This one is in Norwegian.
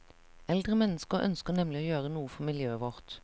Eldre mennesker ønsker nemlig å gjøre noe for miljøet vårt.